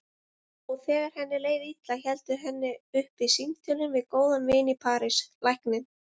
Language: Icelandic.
Og þegar henni leið illa héldu henni uppi símtölin við góðan vin í París, lækninn